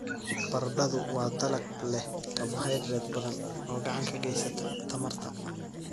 Baradhadu waa dalag leh karbohaydrayt badan oo gacan ka geysata tamarta.